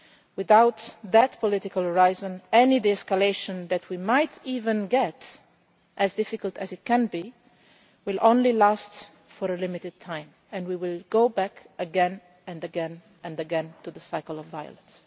Without that political horizon any de escalation that we might even achieve as difficult as that may be will only last for a limited time, and we will go back again and again to the cycle of violence.